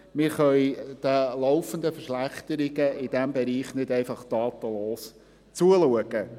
Wir können den laufenden Verschlechterungen in diesem Bereich nicht einfach tatenlos zuschauen.